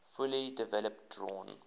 fully developed drawn